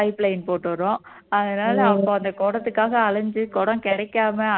pipeline போட்டு வர்றோம் அதனால அவங்க அந்த குடத்துக்காக அலைஞ்சு குடம் கிடைக்காம